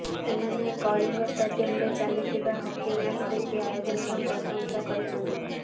ସେମାନେ କଳିଙ୍ଗ ଷ୍ଟାଡିୟମରେ ଚାଲିଥିବା ହକି ମ୍ୟାଚ ଦେଖି ଆୟୋଜନର ପ୍ରଶଂସା କରିଛନ୍ତି